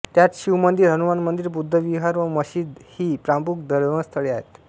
त्यात शिव मंदिर हनुमान मंदिर बुद्ध विहार व मशिद ही प्रमुख धर्मस्थळे आहेत